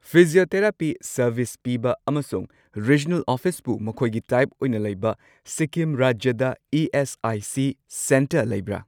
Physiotherapy service ꯄꯤꯕ ꯑꯃꯁꯨꯡ regional ꯑꯣꯐꯤꯁꯄꯨ ꯃꯈꯣꯏꯒꯤ ꯇꯥꯏꯞ ꯑꯣꯏꯅ ꯂꯩꯕ ꯁꯤꯛꯀꯤꯝ ꯔꯥꯖ꯭ꯌꯗ ꯏ.ꯑꯦꯁ.ꯑꯥꯏ.ꯁꯤ. ꯁꯦꯟꯇꯔ ꯂꯩꯕ꯭ꯔꯥ꯫